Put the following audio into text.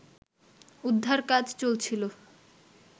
উদ্ধার কাজ চলছিল